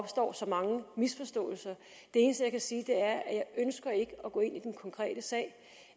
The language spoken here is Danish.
opstår så mange misforståelser det eneste jeg kan sige er ikke ønsker at gå ind i den konkrete sag